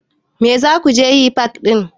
Me za ku je yi fak ɗin?